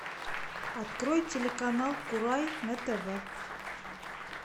открой телеканал курай на тв